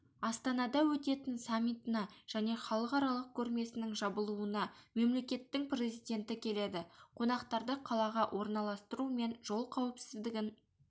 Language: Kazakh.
астанада өтетін саммитына және халықаралық көрмесінің жабылуына мемлекеттің президенті келеді қонақтарды қалаға орналастыру мен жол қауіпсіздігін